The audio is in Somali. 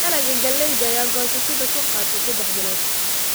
Dalagga galleyda ayaa goosashada ku qaata saddex bilood.